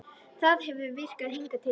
Það hefur virkað hingað til.